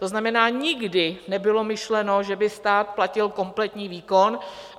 To znamená, nikdy nebylo myšleno, že by stát platil kompletní výkon.